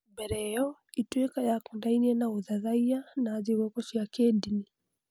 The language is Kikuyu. Mbere ĩyo, Ituĩka yakonainie na ũthathaiya na thigũkũ cia kĩndini.